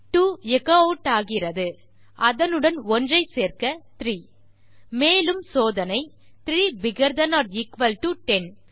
2 echo add ஆகிறது அதனுடன் 1 சேர்க்க 3 மேலும் சோதனை 3 bigger than or equal to 10